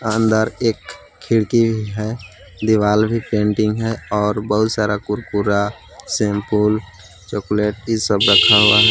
अंदर एक खिड़की है दिवाल भी पेंटिंग है और बहुत सारा कुरकुरा सैम्पुल चॉकलेट इस सब रखा हुआ है।